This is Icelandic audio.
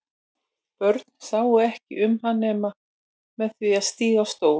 Börn sáu ekki út um hann nema með því að stíga á stól.